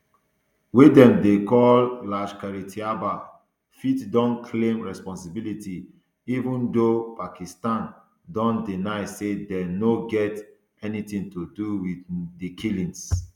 wey dem dey call um lashkaretaiba fit don claim responsibility even though pakistan don deny say dem no get anytin to do wit um di killings